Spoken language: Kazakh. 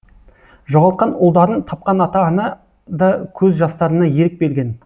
жоғалтқан ұлдарын тапқан ата ана да көз жастарына ерік берген